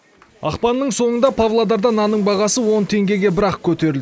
ақпанның соңында павлодарда нанның бағасы он теңгеге бір ақ көтеріл